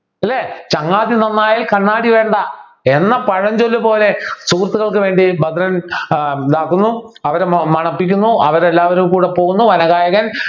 അല്ലേ ചങ്ങാതി നന്നായാൽ കണ്ണാടി വേണ്ട എന്ന പഴഞ്ചൊല്ല് പോലെ സുഹൃത്തുക്കൾക്ക് വേണ്ടി ഭദ്രൻ ആഹ് ഇതാകുന്നു അവരെ മണപ്പിക്കുന്നു അവരെല്ലാവരും കൂടെ പോകുന്നു വനഗായകൻ